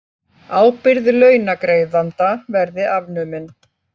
Ábyrgð launagreiðanda verði afnumin